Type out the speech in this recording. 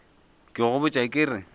ke go botša ke re